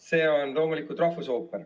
See on loomulikult rahvusooper.